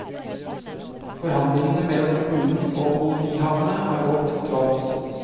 Forhandlingene mellom kommunen og kolonihavene har gått trådt.